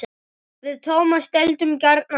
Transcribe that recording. Við Tómas deildum gjarnan hart.